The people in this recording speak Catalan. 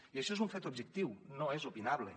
i això és un fet objectiu no és opinable